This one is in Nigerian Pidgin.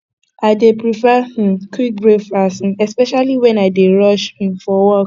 i dey prefer um quick breakfast um especially when i dey rush um for work